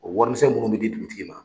O warisɛn munnu be di dugutigi ma